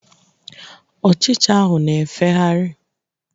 Ochicha ahụ na-efegharị.